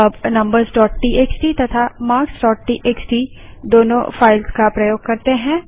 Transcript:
अब numbersटीएक्सटी तथा marksटीएक्सटी दोनों फाइल्स का प्रयोग करते हैं